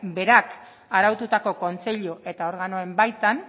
berak araututako kontseilu eta organoen baitan